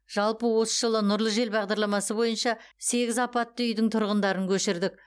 жалпы осы жылы нұрлы жер бағдарламасы бойынша сегіз апатты үйдің тұрғындарын көшірдік